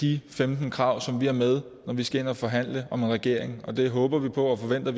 de femten krav som vi har med når vi skal ind og forhandle om en regering og det håber vi på og forventer